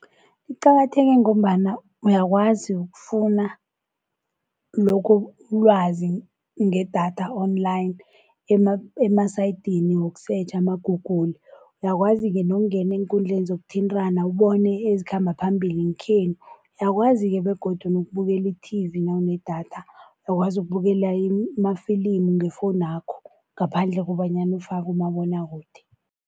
Liqakatheke ngombana uyakwazi ukufuna lokho ulwazi ngedatha online emasayitini wokusetjha ama-Google. Uyakwazi-ke nokungena eenkundleni zokuthintana ubone ezikhamba phambili zangekhenu. Uyakwazi-ke begodu nokubukela i-T_V nawunedatha, uyakwazi ukubukela amafilimu ngefowunakho ngaphandle kobanyana ufake kumabonwakude.